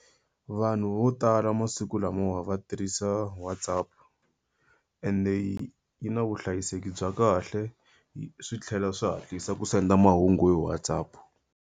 Vanhu vo tala masiku lamawa va tirhisa WhatsApp. Ende yi yi na vuhlayiseki bya kahle,] swi tlhela swi hatlisa ku senda mahungu hi WhatsApp.